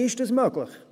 Wie ist dies möglich?